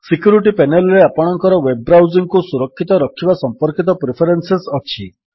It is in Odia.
ସିକ୍ୟୁରିଟୀ ପେନେଲ୍ ରେ ଆପଣଙ୍କର ୱେବ୍ ବ୍ରାଉଜିଙ୍ଗ୍ କୁ ସୁରକ୍ଷିତ ରଖିବା ସମ୍ପର୍କିତ ପ୍ରିଫରେନ୍ସେସ୍ ଅଛି